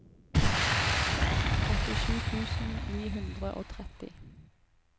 åttisju tusen ni hundre og tretti